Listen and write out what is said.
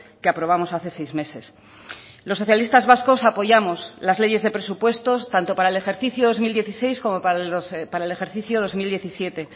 que aprobamos hace seis meses los socialistas vascos apoyamos las leyes de presupuestos tanto para el ejercicio dos mil dieciséis como para el ejercicio dos mil diecisiete